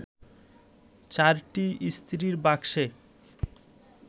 চারটি ইস্ত্রির বাক্সে